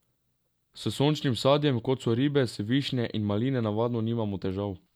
S sočnim sadjem, kot so ribez, višnje in maline, navadno nimamo težav.